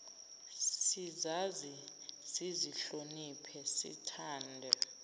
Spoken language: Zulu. sizazi sizihloniphe sithande